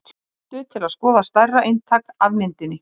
Spólan er þá kölluð snúður eða snúðvöf.